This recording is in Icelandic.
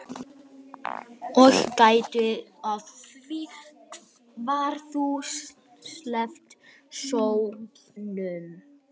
Og gættu að því hvar þú sveifla sópnum.